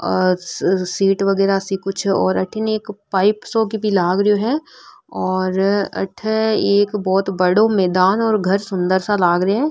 और सीट वगेरा सी कुछ और अठीने एक पाइप सोक भी लाग रो है और अठे एक बहोत बड़ो मैदान और घर सुन्दर सा लाग रा है।